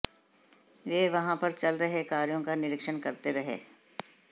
वह वहां पर चल रहे कार्यों का निरीक्षण करते रहे